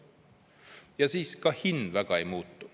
Ja siis ka hind väga ei muutu.